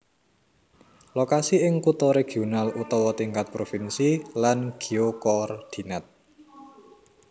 Lokasi ing kutha regional utawa tingkat provinsi lan geokordinat